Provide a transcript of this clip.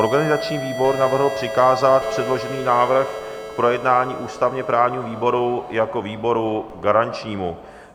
Organizační výbor navrhl přikázat předložený návrh k projednání ústavně-právnímu výboru jako výboru garančnímu.